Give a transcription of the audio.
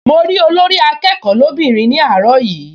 Mo rí Olórí-akẹ́kọ̀ọ́ lóbìnrin ní àárọ̀ yìí